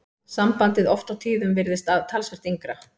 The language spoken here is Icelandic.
Sambandið oft á tíðum virðist talsvert yngra.